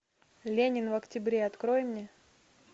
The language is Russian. ленин в октябре открой мне